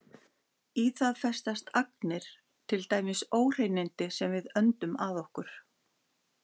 Í það festast agnir, til dæmis óhreinindi sem við öndum að okkur.